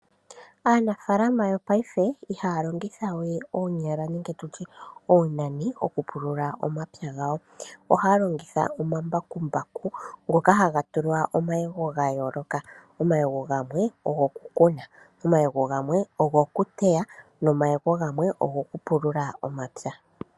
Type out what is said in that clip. Aanafaalama yongashingeyi ihaya longitha we oonyala nenge tu tye oonani okupulula omapya gawo. Ohaya longitha omambakumbaku ngoka haga tulwa omayego ga yooloka. Omayego gamwe ogo kukuna, omayego gamwe ogo kuteya nomayego gamwe ogo kupulula omapya.